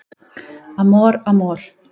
Amor Amor